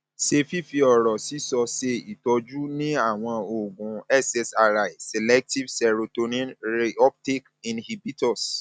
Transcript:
ṣé fífi ọrọ sísọ ṣe ìtọjú ni àwọn oògùn ssri selective serotonin reuptake inhibitors